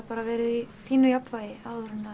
verið í fínu jafnvægi áður en